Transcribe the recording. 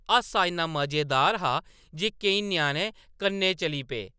हासा इन्ना मजेदार हा जे केईं ञ्याणे कन्नै चली पे ।